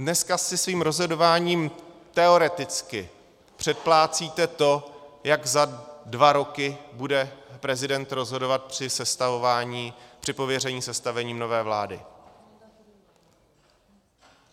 Dneska si svým rozhodováním teoreticky předplácíte to, jak za dva roky bude prezident rozhodovat při sestavování, při pověření sestavením nové vlády.